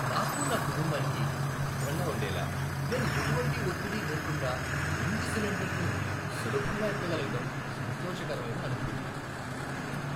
నాకు, నా కుటుంబానికి భద్రంగా ఉండేలా నేను ఎటువంటి ఒత్తిడి లేకుండా నిండు సిలిండర్ను సులభంగా ఎత్తగలగడం సంతోషకరమైన అనుభూతి.